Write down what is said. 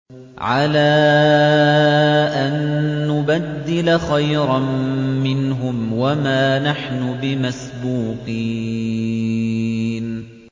عَلَىٰ أَن نُّبَدِّلَ خَيْرًا مِّنْهُمْ وَمَا نَحْنُ بِمَسْبُوقِينَ